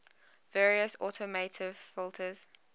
various automotive filters